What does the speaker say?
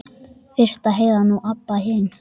Fyrst Heiða, nú Abba hin.